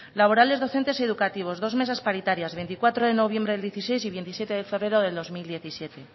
laborales docentes educativos dos mesas paritarias veinticuatro de noviembre de dos mil dieciséis y veintisiete de febrero del dos mil diecisiete